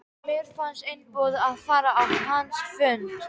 Mér fannst einboðið að fara á hans fund.